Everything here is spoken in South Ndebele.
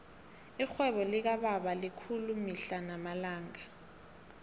irhwebo likababa likhulu mihla namalanga